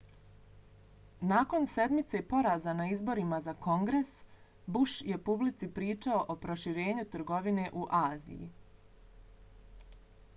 nakon sedmice poraza na izborima za kongres bush je publici pričao o proširenju trgovine u aziji